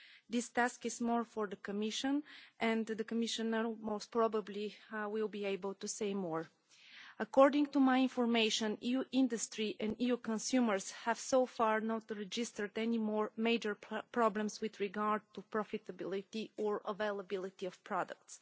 This task is more for the Commission, and the Commissioner will most probably be able to say more. According to my information, EU industry and EU consumers have so far not registered any more major problems with regard to profitability or availability of products.